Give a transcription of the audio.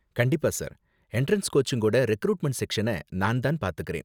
கண்டிப்பா sir, entrance கோச்சிங்கோட recruitment செக்ஷன நான் தான் பாத்துக்கறேன்.